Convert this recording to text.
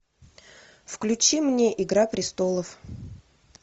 включи мне игра престолов